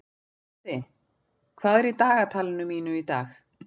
Böddi, hvað er í dagatalinu mínu í dag?